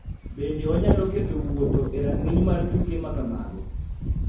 Bende wanyalo keto wuotho ??e rang�iny mar tuke ma kamago.